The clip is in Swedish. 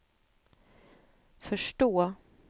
förstå